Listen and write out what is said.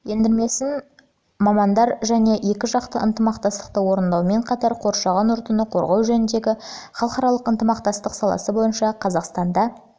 ендірмесін жылы мамандары және екіжақты ынтымақтастықты орындаумен қатар қоршаған ортаны қорғау жөніндегі халықаралық ынтымақтастық саласы бойынша қазақстанда қазан